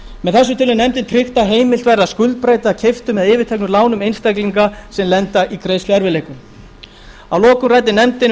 með þessu telur nefndin tryggt að heimilt verði að skuldbreyta keyptum eða yfirteknum lánum einstaklinga sem lenda í greiðsluerfiðleikum að lokum ræddi nefndin um